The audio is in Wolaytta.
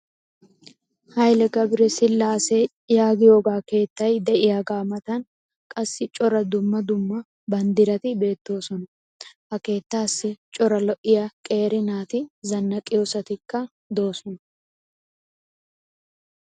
hayilee gabire sillaasee yaagiyoogaa keettay diyaaga matan qassi cora dumma dumma banddirati beettoosona. Ha keettaassi cora lo'iyaa qeeri naati zannaqiyoosatikka doosona.